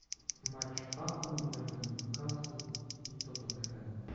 матч апл между ньюкасл и тоттенхэм